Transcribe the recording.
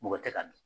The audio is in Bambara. Mɔgɔ tɛ ka dun